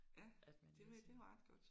At man ligesom skal